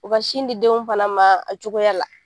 U ka sin di denw fana ma a cogoya la.